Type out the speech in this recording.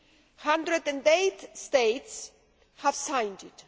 108 states have signed it.